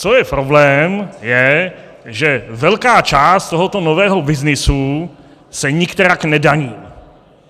Co je problém, je, že velká část tohoto nového byznysu se nikterak nedaní.